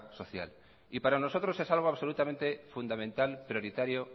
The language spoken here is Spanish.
social y para nosotros es algo absolutamente fundamental prioritario